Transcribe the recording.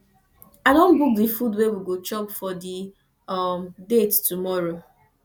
i don book di food wey we go chop for di um date tomorrow